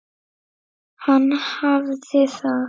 Hann hafði það.